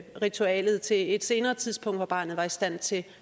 ritualet til et senere tidspunkt hvor barnet var i stand til